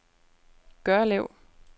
Gørlev